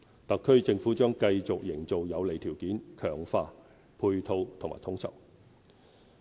特區政府將繼續營造有利條件，強化配套和統籌。